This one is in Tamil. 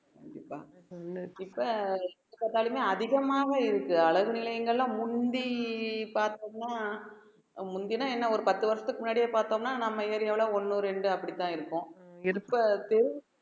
கண்டிப்பா எப்ப பாருங்க அதிகமாவும் இருக்கு அழகு நிலையங்கள்ல முந்தி பார்த்தோம்ன்னா முந்தின என்ன ஒரு பத்து வருஷத்துக்கு முன்னாடியே பார்த்தோம்ன்னா நம்ம area வுல ஒண்ணு ரெண்டு அப்படிதான் இருக்கும்